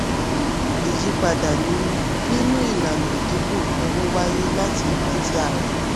ìyípadà nínú nínú ìlànà ìdínkù owó wáyé láti ìgbà tí a ra.